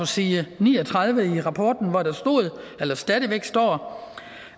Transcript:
side ni og tredive i rapporten hvor der stod eller stadig væk står